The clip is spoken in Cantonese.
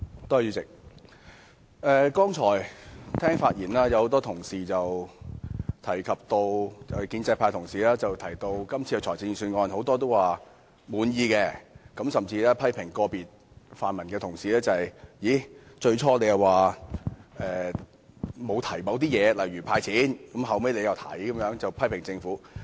主席，剛才很多建制派同事在發言時均表示對今次財政預算案感到滿意，甚至批評個別泛民同事，最初沒有提及"派錢"，後來卻又提出。